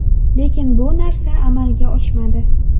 Lekin bu narsa amalga oshmadi.